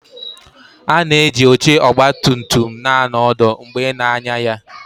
A na-eji oche ọgba tum tum na-anọ ọdụ mgbe ị na-anya ya